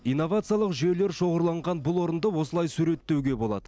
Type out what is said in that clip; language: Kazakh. инновациялық жүйелер шоғырланған бұл орынды осылай суреттеуге болады